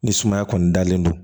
Ni sumaya kɔni dalen don